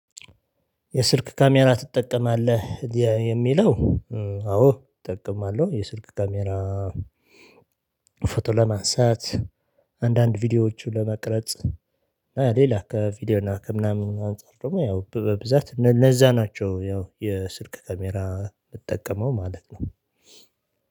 የስልክ ካሜራ ትጠቀማለህ? የሚለው አዎ እጠቀማለሁ የስልክ ካሜራ ፎቶ ለማንሳት አንዳንድ ቪዲዮዎችን ለመቅረጽ ሌላ ከቪዲዮ እና ከምናምን አንፃር ደግሞ ያው በብዛት ለዛ ናቸው ያው የስልክ ካሜራ ምጠቀመው ማለት ነው